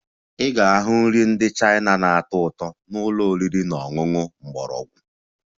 Ị ga-ahụ nri ndị China na-atọ ụtọ na ụlọ oriri na ọṅụṅụ mgbọrọgwụ